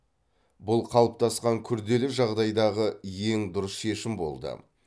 бұл қалыптасқан күрделі жағдайдағы ең дұрыс шешім болды